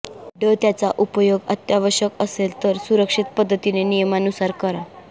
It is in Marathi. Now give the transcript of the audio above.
ड त्यांचा उपयोग अत्यावश्यक असेल तर सुरक्षित पद्धतीने नियमानुसार करा